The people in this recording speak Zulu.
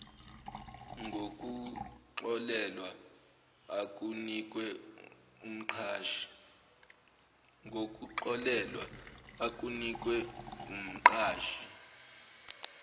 ngokuxolelwa okunikwe umqashi